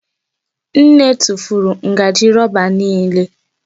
Nne tụfuru ngaji roba niile.